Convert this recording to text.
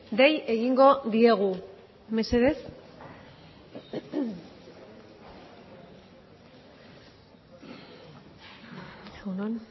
dei egingo diegu mesedez egun on